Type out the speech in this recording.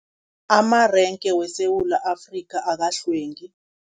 Amarenge weSewula Afrika, akakahlwengi.